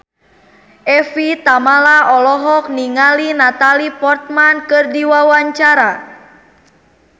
Evie Tamala olohok ningali Natalie Portman keur diwawancara